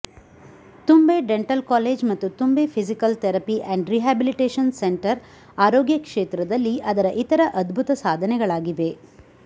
ತುಂಬೆ dental college ಮತ್ತು Thumbay physical therapy and rehabilitation centre ಆರೋಗ್ಯ ಕ್ಷೇತ್ರದಲ್ಲಿ ಅದರಇತರ ಅದ್ಭುತ ಸಾಧನೆಗಳಾಗಿವೆ